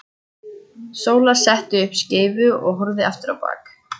Sóla setti upp skeifu og hörfaði aftur á bak.